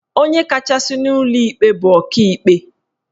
Onye kachasị n'ụlọ ikpe bụ Ọkaikpe